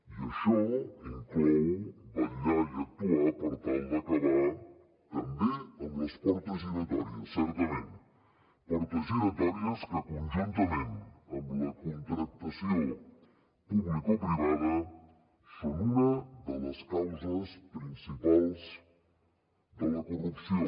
i això inclou vetllar i actuar per tal d’acabar també amb les portes giratòries certament portes giratòries que conjuntament amb la contractació publicoprivada són una de les causes principals de la corrupció